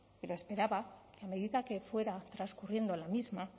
pero esperaba que a medida que fuera transcurriendo la misma